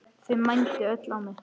Þau mændu öll á mig.